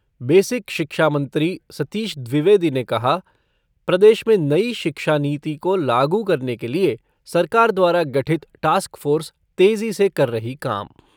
Basic शिक्षा मंत्री सतीश द्विवेदी ने कहा प्रदेश में नई शिक्षा नीति को लागू करने के लिये सरकार द्वारा गठित टास्क फ़ोर्स तेज़ी से कर रही काम।